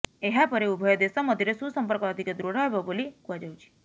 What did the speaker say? ଏହାପରେ ଉଭୟ ଦେଶ ମଧ୍ୟରେ ସୁସମ୍ପର୍କ ଅଧିକ ଦୃଢ ହେବ ବୋଲି କୁହାଯାଉଛି